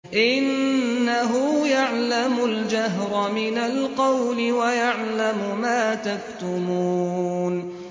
إِنَّهُ يَعْلَمُ الْجَهْرَ مِنَ الْقَوْلِ وَيَعْلَمُ مَا تَكْتُمُونَ